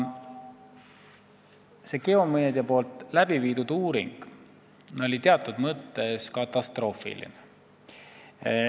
See Geomedia tehtud uuring oli teatud mõttes katastroofiline.